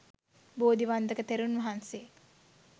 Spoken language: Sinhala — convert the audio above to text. බෝධි වන්දක තෙරුන් වහන්සේ